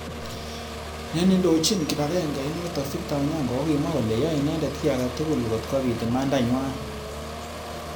Nenindojin. kipagenge inotok Victor Onyango kokimwa kole yoe inendet ki.age tugul kot kobit imanda nywa.